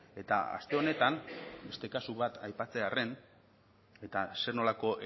eta aste honetan beste kasu bat aipatzearren eta zer nolako